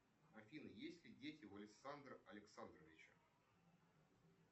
афина есть ли дети у александра александровича